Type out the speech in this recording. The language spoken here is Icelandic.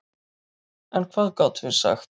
En hvað gátum við sagt?